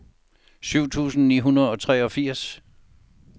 syv tusind ni hundrede og treogfirs